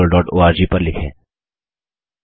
अधिक जानकारी के लिए कृपया contactspoken tutorialorg पर लिखें